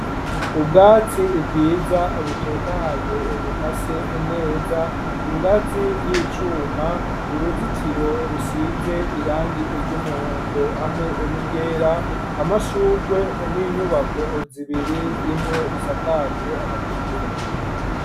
Ubwatsi ibwiza butotahaye ,bukase neza, ingazi y'icuma uruzitiro rusize irangi iry'umuhondo, hamwe ni ryera, amashugwe n'inyubako zibiri, imwe isakajwe amategura.